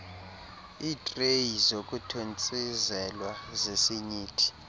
iitreyi zokuthontsizelwa zesinyithi